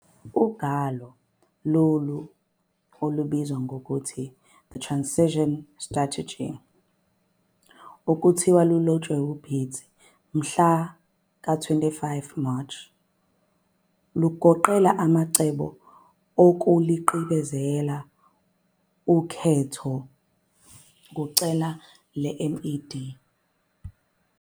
Ugwalo lolu, obelubizwa ngokuthi, "The Transition Strategy" okuthiwa lwalotshwa nguBiti mhlaka 25 March, lugoqela amacebo okuqilibezela ukhetho kucele leMDC.